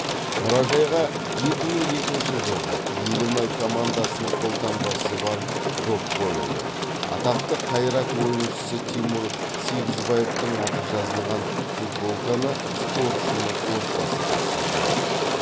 мұражайға екі мың екінші жылғы елімай командасының қолтаңбасы бар доп қойылды атақты қайрат ойыншысы тимур сегізбаевтың аты жазылған футболканы спортшының отбасы тапсырды